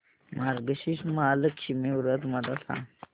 मार्गशीर्ष महालक्ष्मी व्रत मला सांग